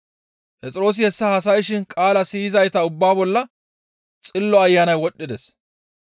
Phexroosi hessa haasayshin qaalaa siyizayta ubbaa bolla Xillo Ayanay wodhdhides.